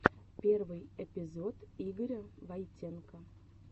первый эпизод игоря войтенко